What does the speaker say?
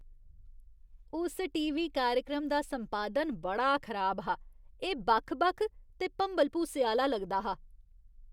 उस टीवी कार्यक्रम दा संपादन बड़ा खराब हा। एह् बक्ख बक्ख ते भंबल भूसे आह्‌ला लगदा हा।